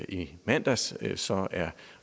i mandags så er